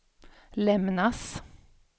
lämnas